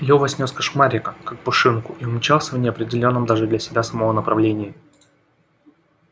лева снёс кошмарика как пушинку и умчался в неопределённом даже для себя самого направлении